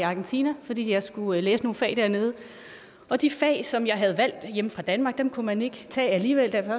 argentina fordi jeg skulle læse nogle fag dernede og de fag som jeg havde valgt hjemme fra danmark kunne man ikke tage alligevel da jeg